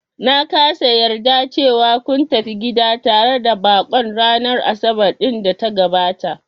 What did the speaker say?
Na kasa yarda cewa kun tafi gida tare da baƙon ranar Asabar ɗin da ta gabata